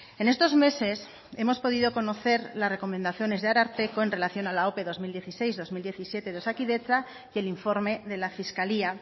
en estos meses hemos podido conocer las recomendaciones del ararteko en relación a la ope dos mil dieciséis dos mil diecisiete de osakidetza y el informe de la fiscalía